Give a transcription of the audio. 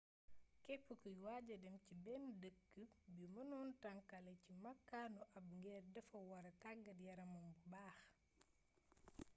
képp kuy waaja dem ci benn dëkk bi mënon tënkale si makaanu ab geer dafa wara taggaat yaramam bu baax